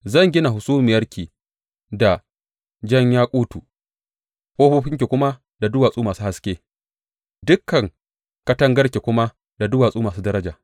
Zan gina hasumiyarki da jan yakutu, ƙofofinki kuma da duwatsu masu haske, dukan katangarki kuma da duwatsu masu daraja.